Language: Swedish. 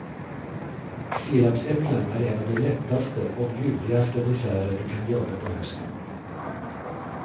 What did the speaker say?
Sirapsäpplen är en av de lättaste och ljuvligaste desserter du kan göra på hösten.